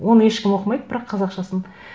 оны ешкім оқымайды бірақ қазақшасын